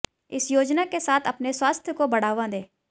इस योजना के साथ अपने स्वास्थ्य को बढ़ावा दें